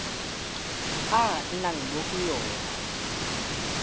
a nnang mo go yona